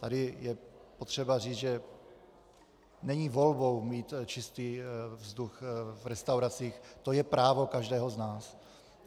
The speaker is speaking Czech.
Tady je potřeba říct, že není volbou mít čistý vzduch v restauracích, to je právo každého z nás.